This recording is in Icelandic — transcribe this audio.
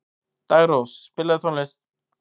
Daggrós, spilaðu tónlist.